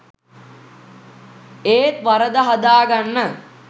ඒත් වරද හදාගන්න